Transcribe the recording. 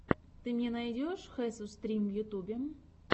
ты мне найдешь хесус стрим в ютюбе